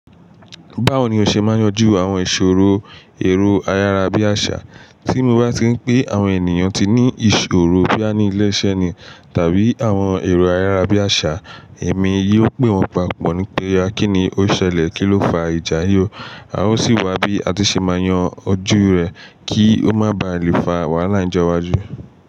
Báwo ni o ṣe máa yanjú àwọn ìṣòro èrò ayárá bí àṣà? Tí mo bá ti ń pé àwọn ènìyàn tí ní ìṣòro boyà ní ilé iṣẹ́ ni tàbí àwọn èrò ayárá bí àṣà, èmi yóò pè wọ́n papọ̀ wípé a kí ni ó ṣẹlẹ̀, kí ló fa ìjà yìí o, a ó sì wá bí a ti ṣe máa yan ojú rẹ̀ kí ó má ba à lè fa wàhálà ìjọ iwájú.